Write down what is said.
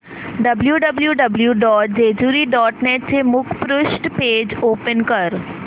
W W W dot Jejuri dot net चे मुखपृष्ठ page open कर